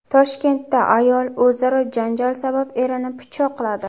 Toshkentda ayol o‘zaro janjal sabab erini pichoqladi.